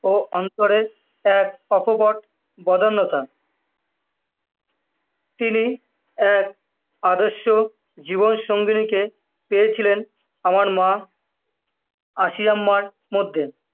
অন্তরের এক অকপট বদান্যতা, তিনি এক আদর্শ জীবনসঙ্গিনীকে পেয়েছিলেন আমার মা, আশিয়াম্মার মধ্যে,